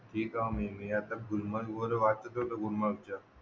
हे काम नेहमी आता गुलमर्ग आता वाटत नेहमी गुलमर्ग च्या